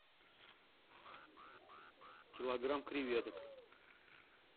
килограмм креветок